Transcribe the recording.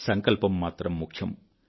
సంకల్పం మాత్రం ముఖ్యం